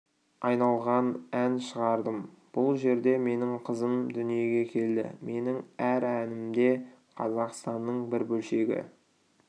айналған ән шығардым бұл жерде менің қызым дүниеге келді менің әр әнімде қазақстанның бір бөлшегі